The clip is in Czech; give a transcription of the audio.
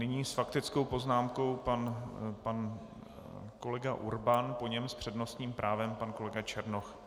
Nyní s faktickou poznámkou pan kolega Urban, po něm s přednostním právem pan kolega Černoch.